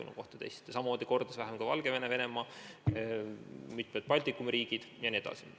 Samamoodi on neid kordades vähem teinud Valgevene, Venemaa, mitmed Balkani riigid jne.